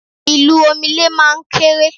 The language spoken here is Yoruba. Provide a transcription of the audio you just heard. Ì̀lù omele máa ń kéré